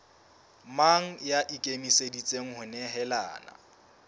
mang ya ikemiseditseng ho nehelana